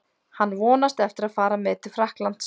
Hann vonast eftir að fara með til Frakklands.